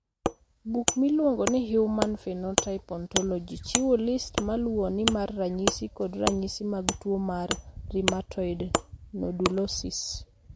Buk miluongo ni Human Phenotype Ontology chiwo list ma luwoni mar ranyisi kod ranyisi mag tuwo mar Rheumatoid nodulosis.